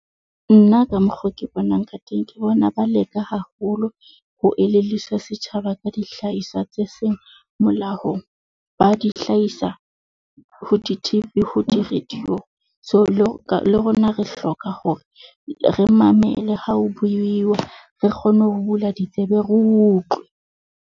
Nna ka mokgo ke bonang ka teng, ke bona ba leka haholo. Ho elelliswa setjhaba ka dihlahiswa tse seng molaong, ba di hlahisa ho di-T_V ho di-radio. So le le rona re hloka hore re mamele ha o buiwa, re kgone ho bula ditsebe, ro utlwe.